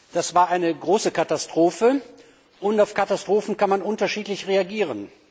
Das war eine große Katastrophe, und auf Katastrophen kann man unterschiedlich reagieren.